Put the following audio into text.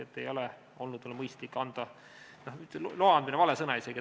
Ei olnud mõistlik anda ... "Loa andmine" on isegi vale väljend.